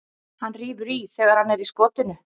Hann rífur í hann þegar hann er í skotinu.